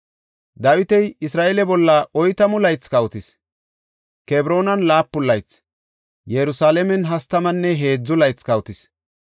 Dawiti Isra7eele bolla oytamu laythi kawotis; Kebroonan laapun laythi, Yerusalaamen hastamanne heedzu laythi kawotis.